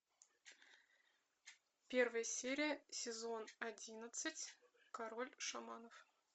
первая серия сезон одиннадцать король шаманов